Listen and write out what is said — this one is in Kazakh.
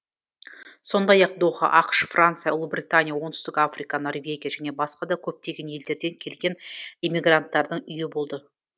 сондай ақ доха ақш франция ұлыбритания оңтүстік африка норвегия және басқа да көптеген елдерден келген эмигранттардың үйі болды